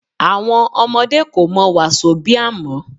Àwọn ọmọdé kò mọ Wásóbià mọ́